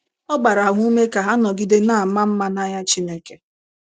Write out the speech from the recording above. Ọ gbara ha ume ka ha nọgide na - ama mma n’anya Chineke.